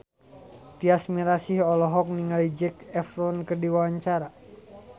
Tyas Mirasih olohok ningali Zac Efron keur diwawancara